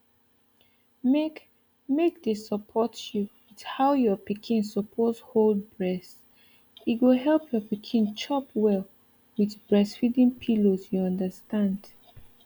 make make they support you with how your pikin suppose hold breast go help your pikin chop well with breastfeeding pillows you understand